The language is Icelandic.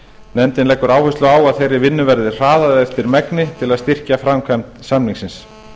nefndin leggur áherslu á að þeirri vinnu verði hraðað eftir megni til að styrkja framkvæmd samningsins